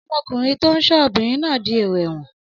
Ọmọkùnrin tó ń ṣọ́ obìnrin náà dièrò ẹ̀wọ̀n.